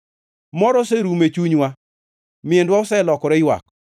Mor oserumo e chunywa; miendwa oselokore ywak.